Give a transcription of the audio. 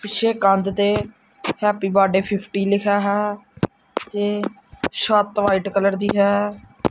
ਪਿੱਛੇ ਕੰਧ ਤੇ ਹੈਪੀ ਬਰਥਡੇ ਫਿਫਟੀ ਲਿਖਿਆ ਹੈ ਤੇ ਸੱਤ ਵਾਈਟ ਕਲਰ ਦੀ ਹੈ।